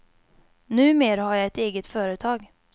Numer har jag ett eget företag.